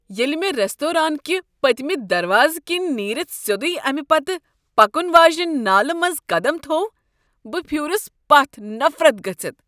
ییٚلہ مےٚ ریستوران کہ پٔتۍمہ دروازٕ کنۍ نیرتھ سیوٚدُے امہ پتہٕ پکن واجنہ نالہ منٛز قدم تھوو، بہ پھیورس پتھ نفرت گژھتھ۔